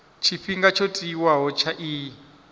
tshifhinga tsho tiwaho tsha iyi